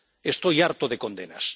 Estoy harto de condenas.